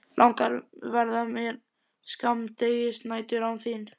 Langar verða mér skammdegisnæturnar án þín.